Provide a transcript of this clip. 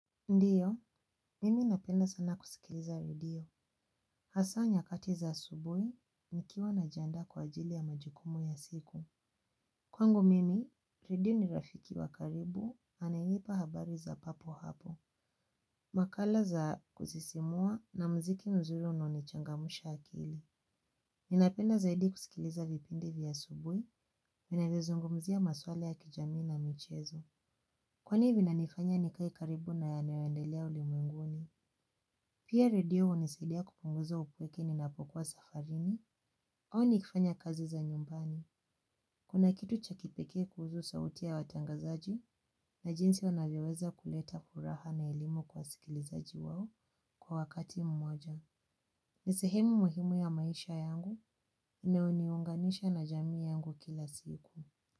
Ndiyo, mimi napenda sana kusikiliza redio. Hasa nyakati za asubuhi, nikiwa na janda kwa ajili ya majukumu ya siku. Kwangu mimi, redio ni rafiki wa karibu, anayenipa habari za papo hapo. Makala za kusisimua na muziki nzuri unaonichangamsha akili. Ninapenda zaidi kusikiliza vipindi vya asubuhi, vinanizungumzia maswala ya kijamii na michezo. Kwani vinanifanya nikae karibu na yanayoendelea ulimwenguni? Pia radio hunisaidia kupunguza upweke ninapokuwa safarini au nikifanya kazi za nyumbani. Kuna kitu cha kipekee kuhusu sauti ya watangazaji na jinsi wanavyoweza kuleta furaha na elimu kwa wasikilizaji wao kwa wakati mmoja. Ni sehemu muhimu ya maisha yangu inayoniunganisha na jamii yangu kila siku.